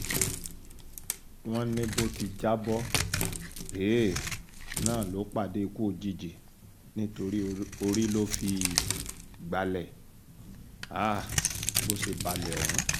wọ́n ní bó ti já bọ́ um náà ló pàdé ikú òjijì nítorí orí ló fi gbalẹ̀ um bó ṣe balẹ̀ ọ̀hún